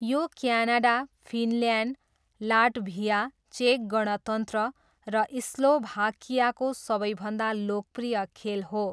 यो Canada, Finland, Latvia, चेक गणतन्त्र र स्लोभाकियाको सबैभन्दा लोकप्रिय खेल हो।